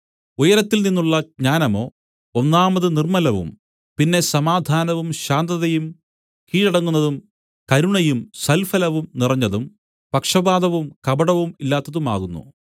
ഉയരത്തിൽനിന്നുള്ള ജ്ഞാനമോ ഒന്നാമത് നിർമ്മലവും പിന്നെ സമാധാനവും ശാന്തതയും കീഴടങ്ങുന്നതും കരുണയും സൽഫലവും നിറഞ്ഞതും പക്ഷപാതവും കപടവും ഇല്ലാത്തതുമാകുന്നു